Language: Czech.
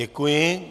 Děkuji.